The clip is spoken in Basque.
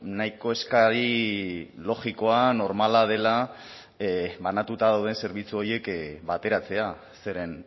nahiko eskari logikoa normala dela banatuta dauden zerbitzu horiek bateratzea zeren